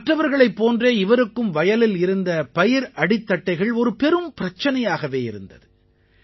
மற்றவர்களைப் போன்றே இவருக்கும் வயலில் இருந்த பயிர் அடித்தட்டைகள் ஒரு பெரும் பிரச்சனையாகவே இருந்தது